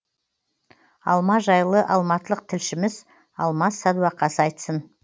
алма жайлы алматылық тілшіміз алмас сәдуақас айтсын